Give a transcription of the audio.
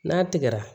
N'a tigɛra